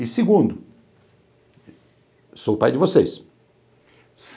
E segundo, sou o pai de vocês.